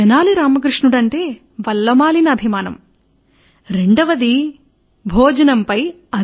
తెనాలి రామకృష్ణునితో రెండవది భోజనంపై